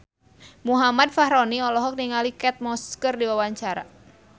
Muhammad Fachroni olohok ningali Kate Moss keur diwawancara